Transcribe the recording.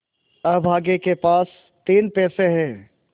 अभागे के पास तीन पैसे है